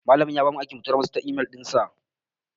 Malamin ya bamu aiki mu tura masa ta imel dinsa.